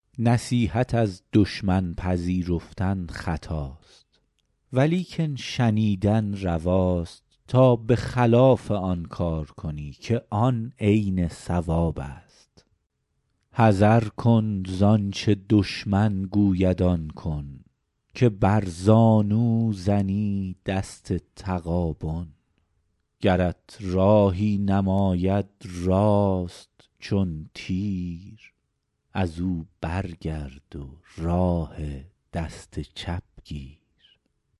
نصیحت از دشمن پذیرفتن خطاست ولیکن شنیدن رواست تا به خلاف آن کار کنی که آن عین صواب است حذر کن زآنچه دشمن گوید آن کن که بر زانو زنی دست تغابن گرت راهی نماید راست چون تیر از او برگرد و راه دست چپ گیر